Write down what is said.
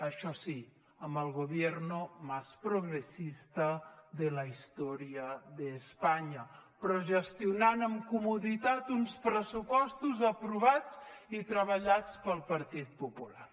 això sí amb el gobierno más progresista de la historia de españa però gestionant amb comoditat uns pressupostos aprovats i treballats pel partit popular